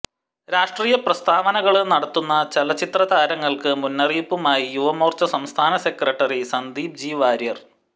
രാഷ്ട്രീയ പ്രസ്താവനകള് നടത്തുന്ന ചലച്ചിത്ര താരങ്ങള്ക്ക് മുന്നറിയിപ്പുമായി യുവമോര്ച്ച സംസ്ഥാന സെക്രട്ടറി സന്ദീപ് ജി വാര്യര്